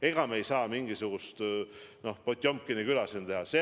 Ega me ei saa siin mingisugust Potjomkini küla teha.